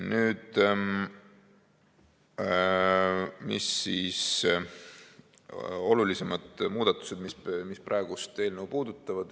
Mis on siis olulisemad muudatused, mis praegust eelnõu puudutavad?